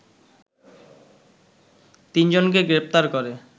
৩ জনকে গ্রেপ্তার করে